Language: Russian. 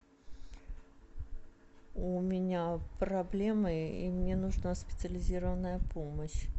у меня проблемы и мне нужна специализированная помощь